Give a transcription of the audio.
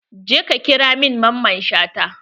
Je ka ƙira min Mamman Shata!